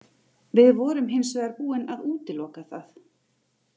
Við vorum hins vegar búin að útiloka það.